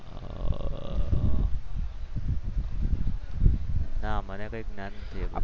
ના મને કંઈક જ્ઞાન નથી.